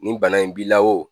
Ni bana in b'i la o